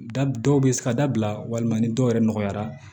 Da dɔw bɛ se ka dabila walima ni dɔw yɛrɛ nɔgɔyara